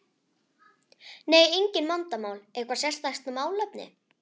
Nei, engin vandamál Eitthvað sérstakt málefni?